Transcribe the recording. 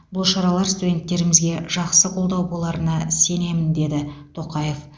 бұл шаралар студенттерімізге жақсы қолдау боларына сенемін деді тоқаев